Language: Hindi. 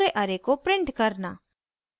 * पूरे array को print करना